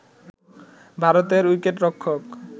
ভারতের উইকেটরক্ষক